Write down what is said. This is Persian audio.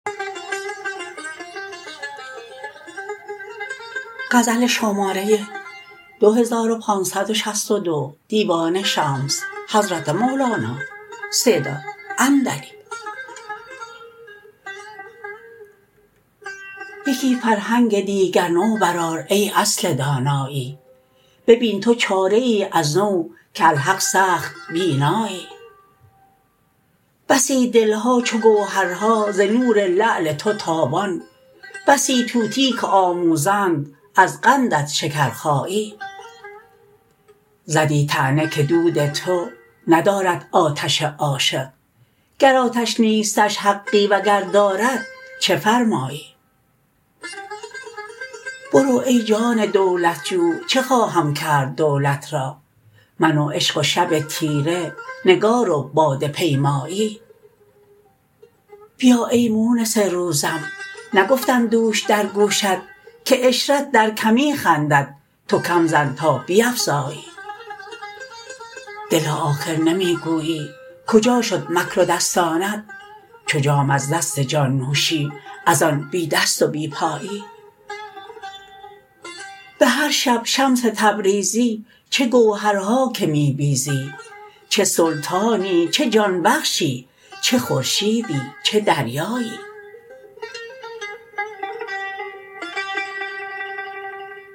یکی فرهنگ دیگر نو برآر ای اصل دانایی ببین تو چاره ای از نو که الحق سخت بینایی بسی دل ها چو گوهرها ز نور لعل تو تابان بسی طوطی که آموزند از قندت شکرخایی زدی طعنه که دود تو ندارد آتش عاشق گر آتش نیستش حقی وگر دارد چه فرمایی برو ای جان دولت جو چه خواهم کرد دولت را من و عشق و شب تیره نگار و باده پیمایی بیا ای مونس روزم نگفتم دوش در گوشت که عشرت در کمی خندد تو کم زن تا بیفزایی دلا آخر نمی گویی کجا شد مکر و دستانت چو جام از دست جان نوشی از آن بی دست و بی پایی به هر شب شمس تبریزی چه گوهرها که می بیزی چه سلطانی چه جان بخشی چه خورشیدی چه دریایی